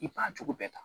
I bana jugu bɛɛ ta